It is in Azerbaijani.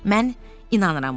Mən inanıram buna.